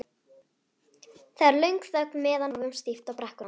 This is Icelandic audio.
Það er löng þögn meðan við horfum stíft á brekkuna.